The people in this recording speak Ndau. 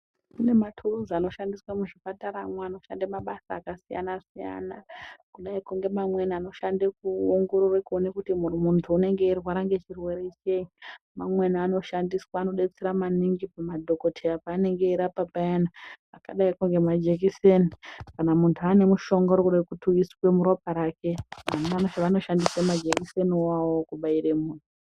Kune maturizi anoshandiswa kuzvipataramwo anoshanda mabasa zvakasiyana siyana kudai ngemamweni anoshande kuongorore kuti muntu unonga weirware ngechirwere chei mamweni anoshandiswa anodetsera maningi madhokoteya panenge eyirapa payeni akadayi nemajekiseni kana muntu anemushonga urikuda kuisa muropa rake anoshandise majekiseni woo kubaire muntu .